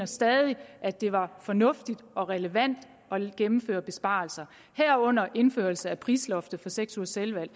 stadig at det var fornuftigt og relevant at gennemføre besparelser herunder indførelse af prisloftet på seks ugers selvvalgt